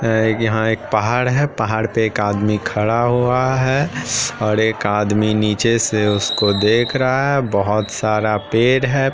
-- है यहाँ एक पहाड़ है पहाड़ पे एक आदमी खड़ा हुआ है और एक आदमी नीचे से उसको देख रहा हैबोहोत बहु सारा पेड़ है।